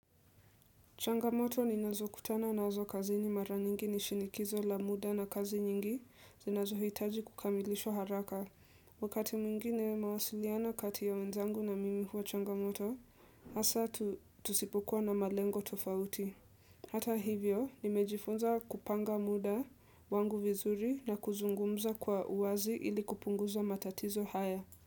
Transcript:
Changamoto ni nazo kutana na nazo kazi ni mara nyingi ni shinikizo la muda na kazi nyingi zinazo hitaji kukamilishwa haraka wakati mwingine mawasiliana kati ya wenzangu na mimi huwa changamoto hasa tusipokuwa na malengo tofauti Hata hivyo nimejifunza kupanga muda wangu vizuri na kuzungumza kwa uwazi ili kupunguza matatizo haya.